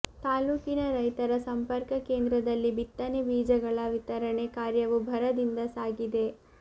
ತಾಲ್ಲೂಕಿನ ರೈತರ ಸಂಪರ್ಕ ಕೇಂದ್ರದಲ್ಲಿ ಬಿತ್ತನೆ ಬೀಜಗಳ ವಿತರಣೆ ಕಾರ್ಯವೂ ಭರದಿಂದ ಸಾಗಿದೆ